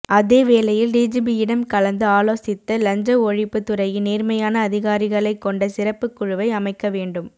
அதே வேலையில் டிஜிபியிடம் கலந்து ஆலோசித்து லஞ்ச ஒழிப்பு துறையின் நேர்மையான அதிகாரிகளை கொண்ட சிறப்பு குழுவை அமைக்க வேண்டும்